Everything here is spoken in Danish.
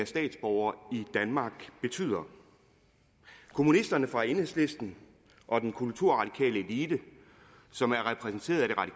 statsborger i danmark betyder kommunisterne fra enhedslisten og den kulturradikale elite som er repræsenteret